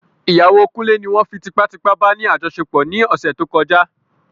Ìyàwó kunle ní won fí tipá tipá bá ní àjọṣepọ̀ ní ọ̀sẹ̀ tó kọjá